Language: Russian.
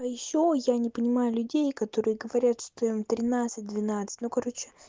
ещё я не понимаю людей которые говорят что им тринадцать двенадцать ну короче